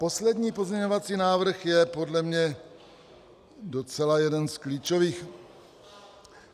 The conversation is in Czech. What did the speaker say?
Poslední pozměňovací návrh je podle mě docela jeden z klíčových.